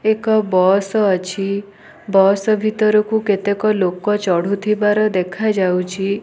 ଏକ ବସ ଅଛି ବସ ଭିତରକୁ କେତେକ ଲୋକ ଚଡୁ ଥିବାର ଦେଖା ଯାଉଅଛି।